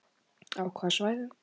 Á hvaða svæðum?